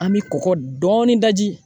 An bɛ kɔgɔ dɔɔnin da ji